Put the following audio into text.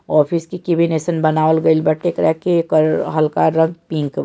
office के cabin ऐसन बनावल गेल बाटे एकरा के एकर हल्का रंग पिंक --